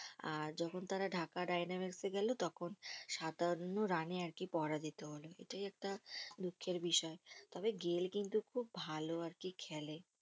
আর যখন তারা ঢাকা ডেনামের্সএ গেলো তখন সাতান্ন রানে আরকি পরাজিত হলো এটাই একটা দুঃখের বিষয় তবে গেইল কিন্তু খুব ভালো আরকি খেলে